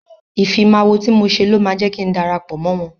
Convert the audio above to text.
Ìfimáwo tí mo ṣe ló máa jẹ́ kin darapọ̀ mọ́ wọ́n.